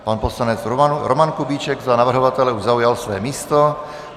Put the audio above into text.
Pan poslanec Roman Kubíček za navrhovatele už zaujal své místo.